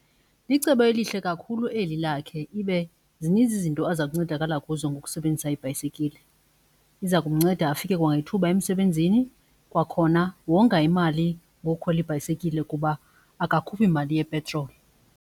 Licebo elihle kakhulu eli lakhe ibe zininzi izinto azakuncedakala kuzo ngokusebenzisa ibhayisekile. Iza kumnceda afike kwangethuba emsebenzini, kwakhona wonga imali ngokukhwela ibhayisekile kuba akakhuphi mali yepetroli.